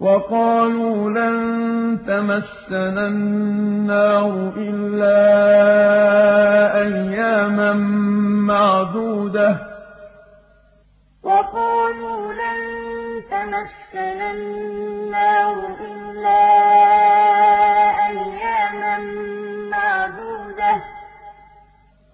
وَقَالُوا لَن تَمَسَّنَا النَّارُ إِلَّا أَيَّامًا مَّعْدُودَةً ۚ